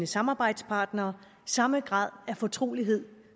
samarbejdspartnere samme grad af fortrolighed